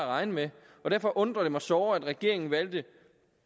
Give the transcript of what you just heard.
regne med og derfor undrer det mig såre at regeringen